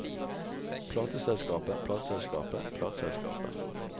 plateselskapet plateselskapet plateselskapet